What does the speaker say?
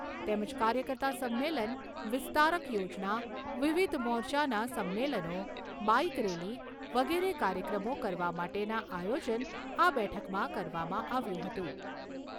તેમજ કાર્યકર્તા સંમેલન, વિસ્તારક યોજના, વિવિધ મોરચાના સંમેલનો, બાઈક રેલી વગેરે કાર્યક્રમો કરવા માટેના આયોજન આ બેઠકમાં કરવામાં આવ્યું હતું.